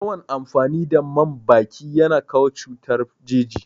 Yawan amfani da man baki yana kawo cutar jeji